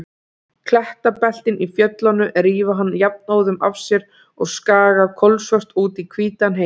Klettabeltin í fjöllunum rífa hann jafnóðum af sér og skaga kolsvört út í hvítan heim.